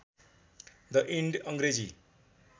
the end Angrezi